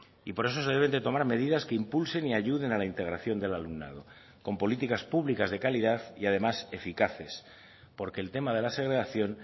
y por eso se deben de tomar medidas que impulsen y ayuden a la integración del alumnado con políticas públicas de calidad y además eficaces porque el tema de la segregación